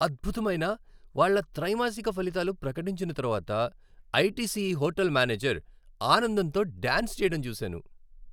అద్భుతమైన వాళ్ళ త్రైమాసిక ఫలితాలు ప్రకటించిన తర్వాత ఐటీసీ హోటల్ మేనేజర్ ఆనందంతో డాన్స్ చేయడం చూశాను.